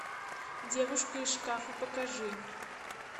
девушка из шкафа покажи